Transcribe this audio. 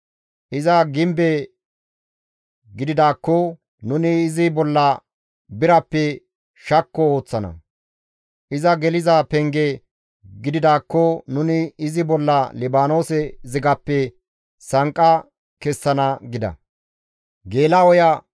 Iza gimbe gididaakko nuni izi bolla birappe shakko ooththana; iza geliza penge gididaakko nuni izi bolla Libaanoose zigappe sanqqa kessana» gida.